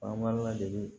An b'a ladege